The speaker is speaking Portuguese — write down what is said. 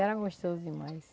Era gostoso demais.